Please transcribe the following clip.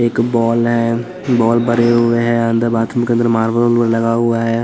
एक बॉल है बॉल भरे हुए हैं अंदर बाथरूम के अंदर मार्बल मार्बल लगा हुआ है--